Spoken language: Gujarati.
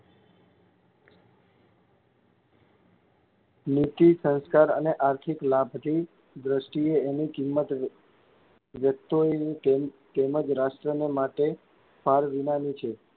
નીતિ, સંસ્કાર અને આર્થિક લાભની દ્રષ્ટિએ એની કિંમત જો કિંમત રાષ્ટ્રને માટે ફાલવિનાની છે.